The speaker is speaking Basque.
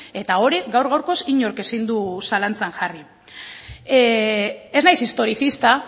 eta hori gaur gaurkoz inork ezin du zalantzan jarri ez naiz historizista